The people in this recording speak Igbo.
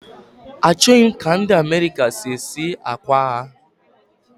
Achọghị m ka ndị America si esi akwa ha